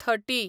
थटी